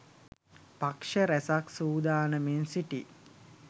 පක්ෂ රැසක් සූදානමින් සිටියි